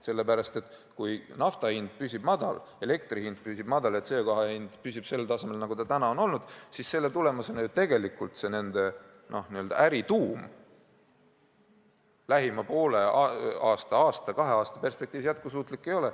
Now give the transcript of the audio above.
Sest kui nafta hind püsib madal, elektri hind püsib madal, CO2 hind püsib sellel tasemel, kus see praegu on olnud, siis tegelikult nende n-ö äri tuum lähima poole aasta, ühe aasta, kahe aasta perspektiivis jätkusuutlik ei ole.